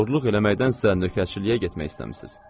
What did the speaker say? Oğurluq eləməkdənsə, nökərçiliyə getmək istəmisiz.